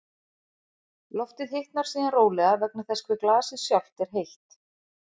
Loftið hitnar síðan rólega vegna þess hve glasið sjálft er heitt.